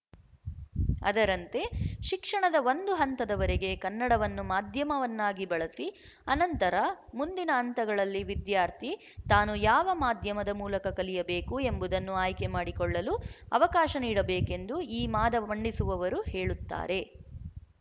ಅದರಂತೆ ಶಿಕ್ಷಣದ ಒಂದು ಹಂತದವರೆಗೆ ಕನ್ನಡವನ್ನು ಮಾಧ್ಯಮವನ್ನಾಗಿ ಬಳಸಿ ಅನಂತರ ಮುಂದಿನ ಹಂತಗಳಲ್ಲಿ ವಿದ್ಯಾರ್ಥಿ ತಾನು ಯಾವ ಮಾಧ್ಯಮದ ಮೂಲಕ ಕಲಿಯಬೇಕು ಎಂಬುದನ್ನು ಆಯ್ಕೆ ಮಾಡಿಕೊಳ್ಳಲು ಅವಕಾಶ ನೀಡಬೇಕೆಂದು ಈ ವಾದ ಮಂಡಿಸುವವರು ಹೇಳುತ್ತಾರೆ